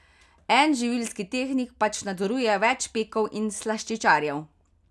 En živilski tehnik pač nadzoruje več pekov in slaščičarjev.